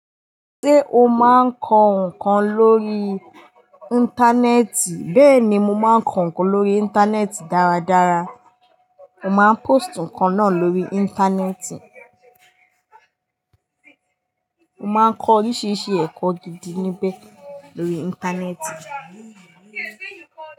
Ṣé o máa ń kọ ǹkan lórí íńtánẹ́ẹ̀tì? Bẹ́ẹ̀ ni, mo máa ń kọ ǹkan lórí íńtánẹ́ẹ̀tì dáradára. Mo máa ń pósti nǹkan náà lórí íńtánẹ́ẹ̀tì. Mo má ń kọ oríṣiríṣi ẹ̀kọ́ gidi níbẹ̀ lórí íńtánẹ́ẹ̀tì.